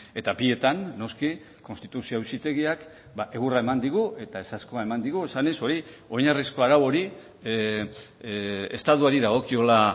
eta bietan noski konstituzio auzitegiak egurra eman digu eta ezezkoa eman digu esanez hori oinarrizko arau hori estatuari dagokiola